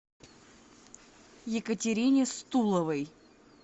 екатерине стуловой